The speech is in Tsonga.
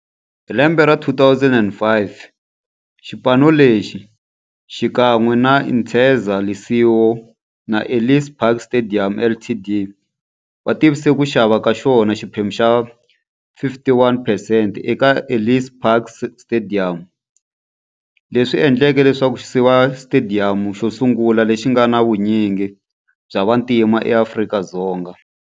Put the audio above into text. Hi lembe ra 2005, xipano lexi, xikan'we na Interza Lesego na Ellis Park Stadium Ltd, va tivise ku xava ka xona xiphemu xa 51 percent eka Ellis Park Stadium, leswi endleke leswaku xiva xitediyamu xosungula lexi nga na vunyingi bya vantima eAfrika-Dzonga.